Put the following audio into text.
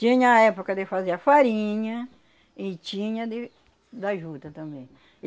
Tinha a época de fazer a farinha e tinha de da juta também.